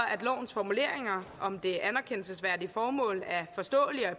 at lovens formuleringer om det anerkendelsesværdige formål er forståelige og